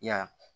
Ya